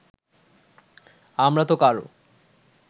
আমরাতো কারো